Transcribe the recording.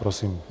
Prosím.